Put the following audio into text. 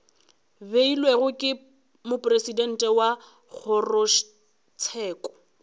beilwego ke mopresidente wa kgorotsheko